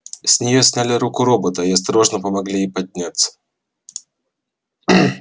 с нее сняли руку робота и осторожно помогли ей подняться